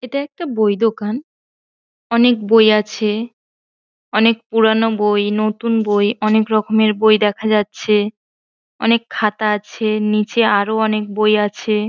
এটা একটা বই দোকান। অনেক বই আছে। অনেক পুরানো বই নতুন বই অনেকরকমের বই দেখা যাচ্ছে। অনেক খাতা আছে নিচে আরো অনেক বই আছে।